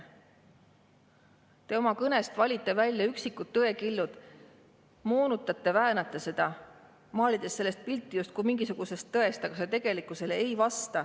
Te oma kõnes valite välja üksikud tõekillud, moonutate, väänate neid, maalides sellest pilti justkui mingisugusest tõest, aga see ei vasta tegelikkusele.